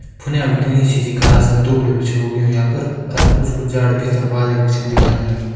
फुने भीटी घास दुगला भी छौ उगयूं यां पर और कुछ-कुछ झाड़ भित्तर छिन दिख्याण लाग्यां।